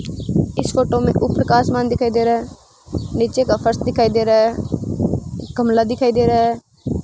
इस फोटो में ऊपर का आसमान दिखाई दे रहा है नीचे का फर्श दिखाई दे रहा है गमला दिखाई दे रहा है।